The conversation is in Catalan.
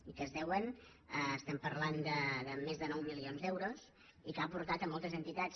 i que es deuen estem parlant de més de nou milions d’euros i que han portat moltes entitats